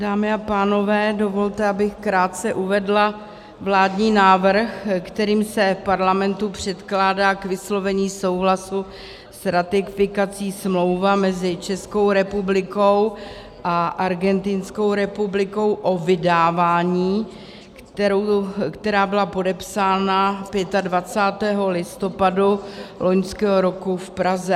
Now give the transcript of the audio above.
Dámy a pánové, dovolte, abych krátce uvedla vládní návrh, kterým se Parlamentu předkládá k vyslovení souhlasu s ratifikací Smlouva mezi Českou republikou a Argentinskou republikou o vydávání, která byla podepsána 25. listopadu loňského roku v Praze.